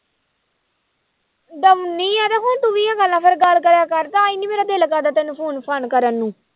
ਡਰਾਉਨੀ ਆਂ ਤੇ ਫਿਰ ਤੂੰ ਫਿਰ ਗੱਲ ਕਰਿਆ ਤਾਂਹੀ ਨੀ ਮੇਰਾ ਦਿਲ ਕਰਦਾ ਤੈਨੂੰ phone ਫਾਨ ਕਰਨ ਨੂੰ